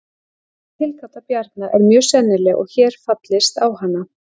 þessi tilgáta bjarna er mjög sennileg og er hér fallist á hana